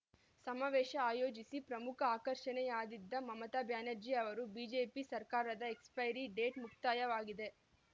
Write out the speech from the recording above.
ಸಮಾವೇಶ ಆಯೋಜಿಸಿ ಪ್ರಮುಖ ಆಕರ್ಷಣೆಯಾದಿದ್ದ ಮಮತಾ ಬ್ಯಾನರ್ಜಿ ಅವರು ಬಿಜೆಪಿ ಸರ್ಕಾರದ ಎಕ್ಸ್‌ಪೈರಿ ಡೇಟ್‌ ಮುಕ್ತಾಯವಾಗಿದೆ